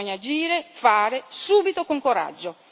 Bisogna agire, fare, subito e con coraggio.